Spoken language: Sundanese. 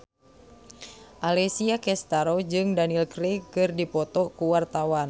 Alessia Cestaro jeung Daniel Craig keur dipoto ku wartawan